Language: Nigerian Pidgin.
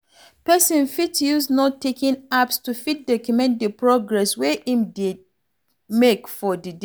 Person fit use note taking apps to fit document di progress wey im dey make for di day